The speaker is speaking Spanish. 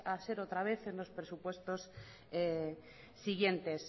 a ser otra vez en los presupuestos siguientes